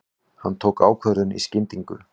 Hann tók ákvörðun í skyndingu.